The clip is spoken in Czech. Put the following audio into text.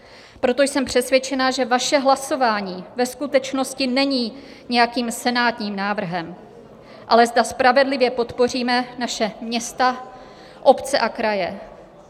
Proto jsem přesvědčena, že vaše hlasování ve skutečnosti není nějakým senátním návrhem, ale zda spravedlivě podpoříme naše města, obce a kraje.